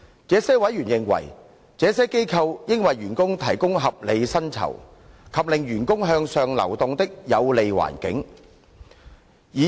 這些委員認為，這些機構應為員工提供合理薪酬，以及令員工向上流動的有利環境。